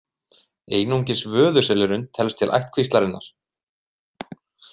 Einungis vöðuselurinn telst til ættkvíslarinnar.